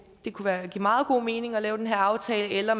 kunne give meget god mening at lave den her aftale eller